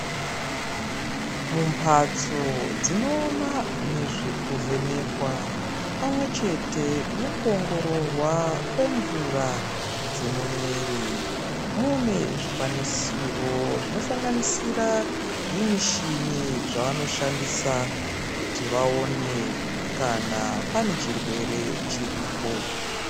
Mumhatso dzinoona nezvekuvhenekwa pamwechete nezvekuongororwa kwemvura dzemumuviri, mune zvikwanisiro zvinosanganisira zvimichini zvavanoshandisa kuti vaone kana pane chirwere chiripo.